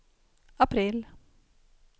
april